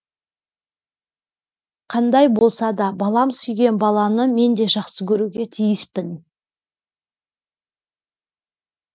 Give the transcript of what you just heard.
қандай болса да балам сүйген баланы мен де жақсы көруге тиіспін